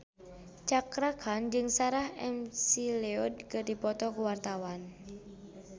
Cakra Khan jeung Sarah McLeod keur dipoto ku wartawan